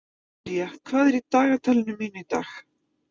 Júlína, hvað er í dagatalinu mínu í dag?